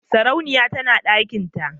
sarauniya tana dakinta.